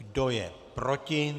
Kdo je proti?